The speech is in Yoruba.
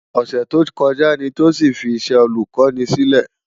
Òsè tókòjá ni Tosin fi iṣè Ólùkòni silè